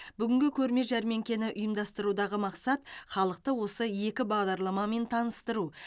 бүгінгі көрме жәрмеңкені ұйымдастырудағы мақсат халықты осы екі бағдарламамен таныстыру